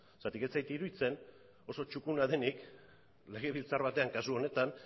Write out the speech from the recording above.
zeren eta ez zait iruditzen oso txukuna denik legebiltzar batean kasu honetan